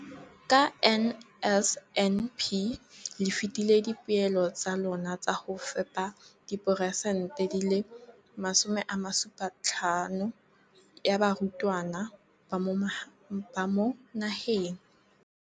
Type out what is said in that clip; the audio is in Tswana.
Ka NSNP le fetile dipeelo tsa lona tsa go fepa masome a supa le botlhano a diperesente ya barutwana ba mo nageng.